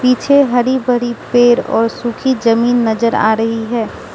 मुझे हरी भरी पेड़ और सूखी जमीन नजर आ रही है।